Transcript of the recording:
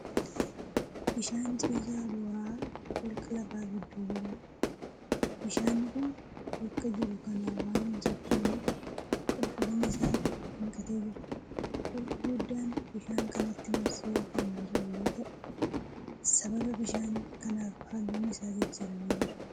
Bishaan ciisaa bora'aa holqa lafaa gidduu jiruudha. Bishaanni kun bakka jiru kanaa waan hin sochooneef qulqullinni isaa hanqatee jira. Holqi guddaan bishaan kanatti marsee kan jiru yoo ta'u sababa bishaan kanaaf halluun isaa jijjiiramee jira.